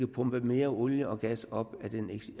pumpe mere olie og gas op